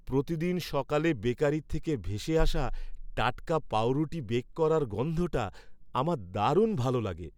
প্রতিদিন সকালে বেকারি থেকে ভেসে আসা টাটকা পাঁউরুটি বেক করার গন্ধটা আমার দারুণ ভালো লাগে।